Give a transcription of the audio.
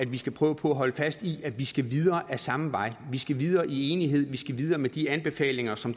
vi skal prøve på at holde fast i at vi skal videre ad samme vej vi skal videre i enighed vi skal videre med de anbefalinger som